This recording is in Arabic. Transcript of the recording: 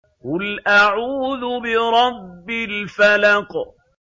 قُلْ أَعُوذُ بِرَبِّ الْفَلَقِ